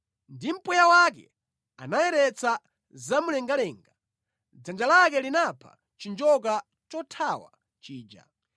Ndi mpweya wake anayeretsa zamumlengalenga, dzanja lake linapha chinjoka chothawa chija.